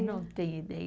Não tenho ideia.